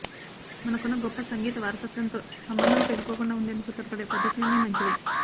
మనకున్న గొప్ప సంగీత వారసత్వంతో సంబంధం తెగిపోకుండా ఉండేందుకు తోడ్పడే పద్ధతులన్నీ మంచివే